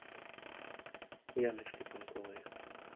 яночке панковой